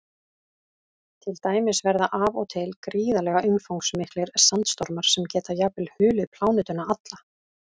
Til dæmis verða af og til gríðarlega umfangsmiklir sandstormar sem geta jafnvel hulið plánetuna alla.